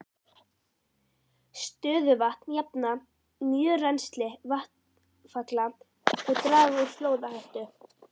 Stöðuvötn jafna mjög rennsli vatnsfalla og draga úr flóðahættu.